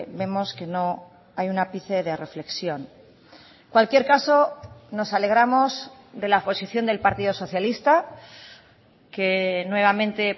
vemos que no hay un ápice de reflexión cualquier caso nos alegramos de la posición del partido socialista que nuevamente